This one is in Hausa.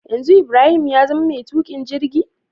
Yanzu ibrahim yazama ma tukin jirgi?